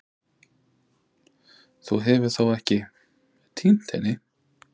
Þú hefur þó ekki. týnt henni?